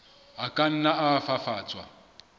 a ka nna a fafatswa